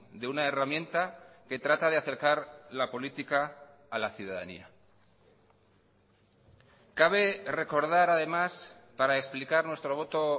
de una herramienta que trata de acercar la política a la ciudadanía cabe recordar además para explicar nuestro voto